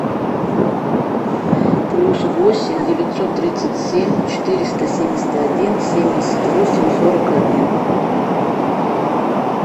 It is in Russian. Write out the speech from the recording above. плюс восемь девятьсот тридцать семь четыреста семьдесят один семьдесят восемь сорок один